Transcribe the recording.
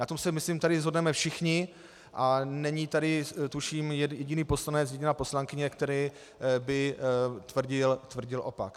Na tom se myslím tady shodneme všichni a není tady tuším jediný poslanec, jediná poslankyně, kteří by tvrdili opak.